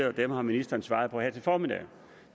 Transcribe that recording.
og dem har ministeren svaret på her til formiddag